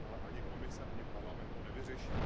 Ale ani Komise, ani Parlament to nevyřeší.